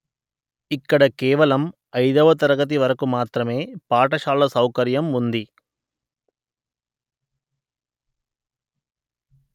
ఇక్కడ కేవలం ఐదవ తరగతి వరకు మాత్రమే పాఠశాల సౌకర్యం ఉంది